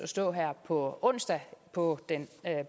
stå her på onsdag på den